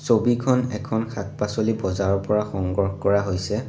ছবিখন এখন শাক-পাছলি বজাৰৰ পৰা সংগ্ৰহ কৰা হৈছে।